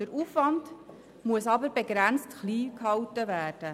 Allerdings muss der Aufwand begrenzt und klein gehalten werden.